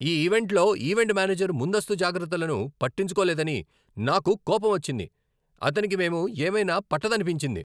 మా ఈవెంట్లో event manager ముందస్తు జాగ్రత్తలను పట్టించుకోలేదని నాకు కోపం వచ్చింది. అతనికి మేము ఏమైనా పట్టదనిపించింది!